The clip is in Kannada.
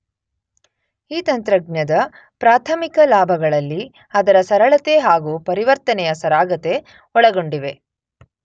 ಈ ತಂತ್ರಜ್ಞದ ಪ್ರಾಥಮಿಕ ಲಾಭಗಳಲ್ಲಿ ಅದರ ಸರಳತೆ ಹಾಗೂ ಪರಿವರ್ತನೆಯ ಸರಾಗತೆ ಒಳಗೊಂಡಿವೆ.